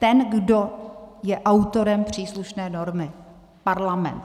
Ten, kdo je autorem příslušné normy - Parlament.